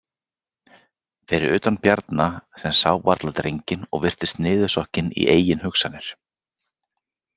Fyrir utan Bjarna sem sá varla drenginn og virtist niðursokkinn í eigin hugsanir.